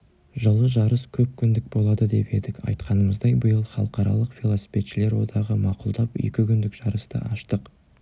жылы жарыс көпкүндік болады деп едік айтқанымыздай биыл халықаралық велосипедшілер одағы мақұлдап екікүндік жарысты аштық